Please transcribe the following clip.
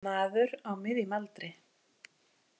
Maður á miðjum aldri.